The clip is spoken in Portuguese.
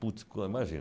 Puts, imagina.